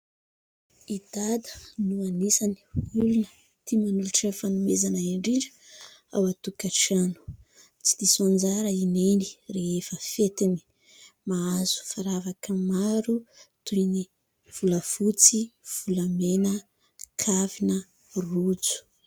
I Dada no anisany olona tia manolotra fanomezana indrindra ao an-tokantrano. Tsy diso anjara i Neny rehefa fetiny, mahazo firavaka maro toy ny : volafotsy, volamena, kavina, rojo.